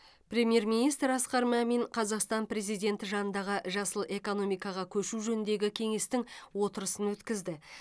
премьер министр асқар мамин қазақстан президенті жанындағы жасыл экономикаға көшу жөніндегі кеңестің отырысын өткізді